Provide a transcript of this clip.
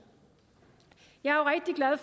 at